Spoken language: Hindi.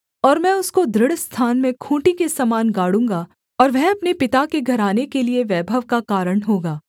और मैं उसको दृढ़ स्थान में खूँटी के समान गाड़ूँगा और वह अपने पिता के घराने के लिये वैभव का कारण होगा